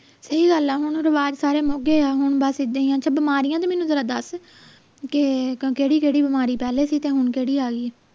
ਸਹੀ ਗੱਲ ਆ ਹੁਣ ਰਿਵਾਜ ਸਾਰੇ ਮੁੱਕ ਗਏ ਆ ਹੁਣ ਬਸ ਇੱਦਾਂ ਹੀ ਆ ਤੇ ਬਿਮਾਰੀਆਂ ਦੀ ਮੈਨੂੰ ਜਰਾ ਦਸ ਕੇ ਕਿਹੜੀ ਕਿਹੜੀ ਬਿਮਾਰੀ ਪਹਿਲੇ ਸੀ ਤੇ ਹੁਣ ਕਿਹੜੀ ਆਈ ਆ